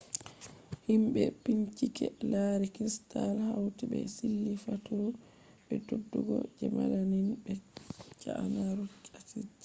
himbe bincike lari crystals hauti be sille faturu be beddugo je melamine be cyanuric acid